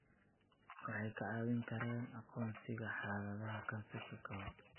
Waxay kaa caawin karaan aqoonsiga xaaladaha kansarka ka hor.